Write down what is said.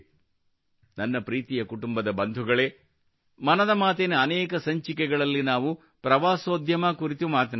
ನನ್ನ ಪ್ರೀತಿಯ ಕುಟುಂಬದ ಬಂಧುಗಳು ಮನದ ಮಾತಿನ ಅನೇಕ ಸಂಚಿಕೆಗಳಲ್ಲಿ ನಾವು ಪ್ರವಾಸೋದ್ಯಮ ಕುರಿತು ಮಾತನಾಡಿದ್ದೇವೆ